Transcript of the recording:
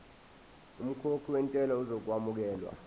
umkhokhi wentela uzokwamukelwa